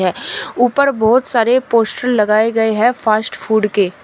ऊपर बहुत सारे पोस्टर लगाए गए हैं फास्ट फूड के--